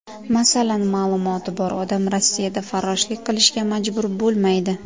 Masalan, ma’lumoti bor odam Rossiyada farroshlik qilishga majbur bo‘lmaydi.